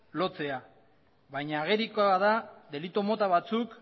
lotzea baina agerikoa da delitu mota batzuk